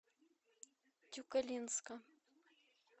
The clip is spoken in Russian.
тюкалинска